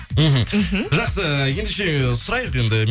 мхм мхм жақсы ендеше сұрайық енді